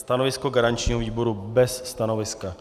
Stanovisko garančního výboru - bez stanoviska.